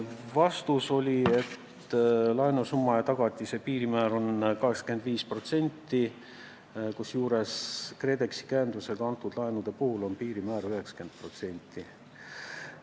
Vastus oli, et laenusumma ja tagatise suhtarvu piirmäär on 85%, kusjuures KredExi käendusega antud laenude puhul on piirmäär 90%.